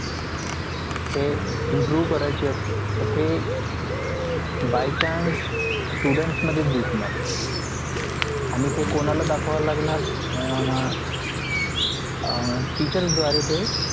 ते improve करायचे असं तर ते by chance students मध्येच दिसणार आणि ते कोणाला दाखवावं लागणार अं teachers द्वारे ते